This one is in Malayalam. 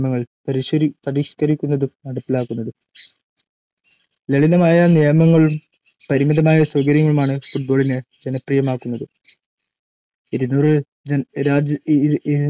പരിഷ്ക്കരിക്കുന്നതും നടപ്പിലാക്കുന്നതും ലളിതമായ നിയമങ്ങളും പരിമിതമായ സൗകര്യങ്ങളുമാണ് ഫുട്ബോളിനെ ജനപ്രിയമാക്കുന്നത് ഇരുനൂറ് രാജ്യങ്ങളിലായി